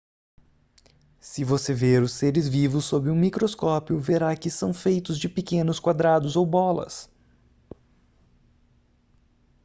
se você ver os seres vivos sob um microscópio verá que são feitos de pequenos quadrados ou bolas